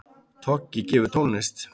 Toggi gefur tónlist